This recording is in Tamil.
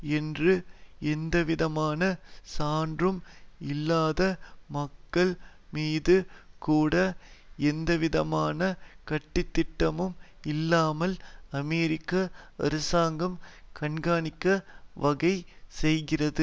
என்று எந்தவிதமான சான்றும் இல்லாத மக்கள் மீது கூட எந்தவிதமான கட்டுத்திட்டமும் இல்லாமல் அமெரிக்க அரசாங்கம் கண்காணிக்க வகை செய்கிறது